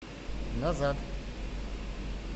назад